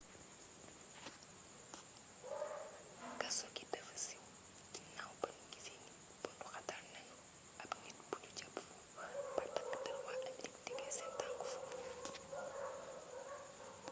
kaso gi dafa siiw ginaaw ba nu gisee ni bunduxatal nanu ab nit bu nu jàpp foofu ba takk der waa amerig tegee seen tank foofu